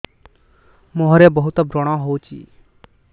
ମୁଁହରେ ବହୁତ ବ୍ରଣ ହଉଛି